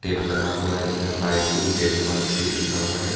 लगा हुआ है जिसमें buy two get one free लिखा हुआ है।